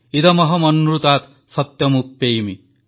ଇଦମହମନୃତାତ୍ ସତ୍ୟମୁପ୍ୟେମି